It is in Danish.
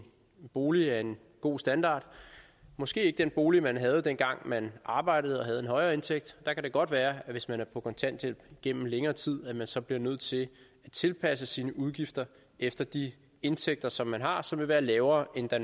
bolig af en god standard måske ikke den bolig man havde dengang man arbejdede og havde en højere indtægt der kan det godt være hvis man er på kontanthjælp gennem længere tid at man så bliver nødt til at tilpasse sine udgifter efter de indtægter som man har og som vil være lavere end da